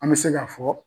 An bɛ se k'a fɔ